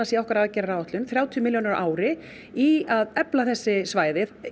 í okkar aðgerðaáætlun þrjátíu milljónir á ári í að efla þessi svæði